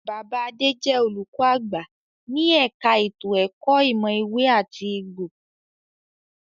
Bàbá Adé jẹ olùkọ àgbà ní ẹka ètò ẹ̀kọ́ ìmọ̀ ewé àti egbò.